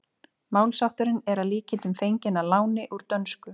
Málshátturinn er að líkindum fenginn að láni úr dönsku.